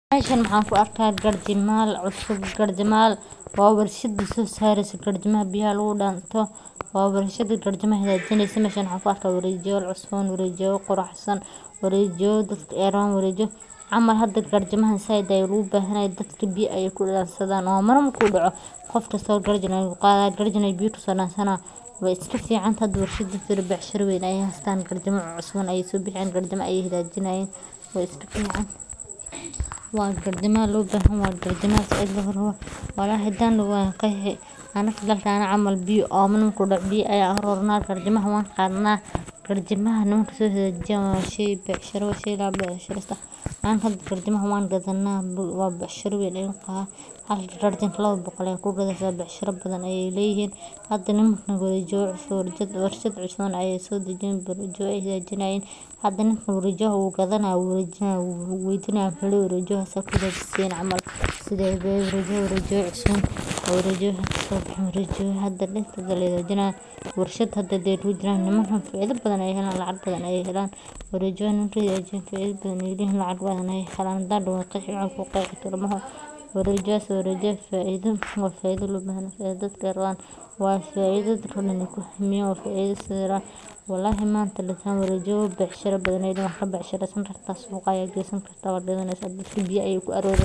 Mashan waxaan ku argahay garjamay cusub garjamayal waa warshada sosarisa garjamada biyaha kugu dansdoh waa warshada garjamada xaga jinaysa mashan waxaan ku argah waarjiyal cusub wariyo quruxsan warijayoda dadka ay camal hada dadka garijamaha saaid ayay ogu baxanyihin dadka biya ayay ku dansanasadan oo mana marku daqo qofkasto garjan ayu qadah biya ayu ku sodansana, way iska fican hada firir warshada shir waar ayay hastan garjama cusuban ay sobixiyan garjamo ayay xagajinayan way iska fican, wa garjama loo baxanyahay garjamahas walhi hadii nadaho wan qaxi aniga camal omani marku daqo biyo aya arorna garjamo aya qadnah garjamaha la so xagajiyan wa shay bacshiro wa baicshiro kasto garjamahan wan baadina wa bacshiro waan halka lawa boqor oo shilin aya ku gadasah bacshirada baadan ayay layihin hada warajo cusub warashad cusuban ayay sodajini aya xagajinyin hada ninka qawajiyah u gadanaya u waydinaya wuxu lahay warjiada sida ku xagajisan camal sida bee warjiyo cusuban warjiyo hada la hagajinaya warshada hada ayay kujiran faaid baadan ayay halayin lacag baadan ayay halan warjiada faaida badan lacag baadan aya qaban waxan daan warjiasah faaido wa faaido loo bahan yahay marka faaida walhi manta la taganyahay lagoha bacshiro baadan ayay halayin suqa aya gasanikartah wad gadanasah ama biya aya ku ararahasajah.